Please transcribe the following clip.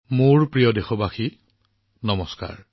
মোৰ মৰমৰ দেশবাসীসকল নমস্কাৰ